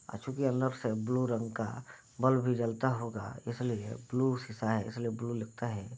ऐचूली अंदर से ब्लू रंग का बल्ब भी जलता होगा इसलिए ब्लू शीशा है इसलिए ब्लू लिखा है।